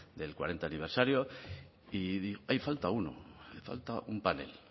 del cuarenta aniversario y dije ahí falta uno falta un panel